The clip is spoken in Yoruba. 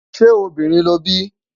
ṣé obìnrin lóbí?